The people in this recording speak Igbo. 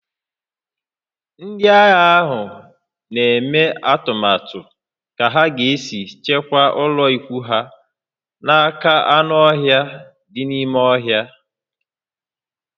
Ndị agha ahụ na-eme atụmatụ ka ha ga-esi chebe ụlọikwuu ha n'aka anụ ọhịa dị n'ime ọhịa